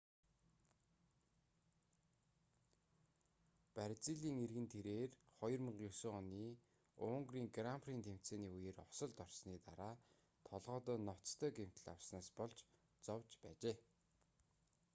бразилийн иргэн тэрээр 2009 оны унгарын гран при тэмцээний үеэр осолд орсоны дараа толгойдоо ноцтой гэмтэл авснаас болж зовж байжээ